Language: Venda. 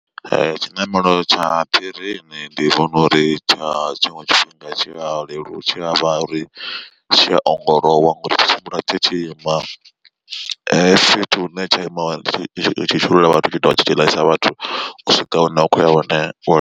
Tshiṋamelo tsha phirini ndi vhona uri tsha tshiṅwe tshifhinga tshi a lelu tshi avha uri tshiya ongolowa ngori tshi tshimbila tshi tshi ima fhethu hune tsha ima tshi tshi shuluwa vhathu tshi tshi dovha tshi tshi ḽaisa vhathu u swika hune vha khoya hone wa.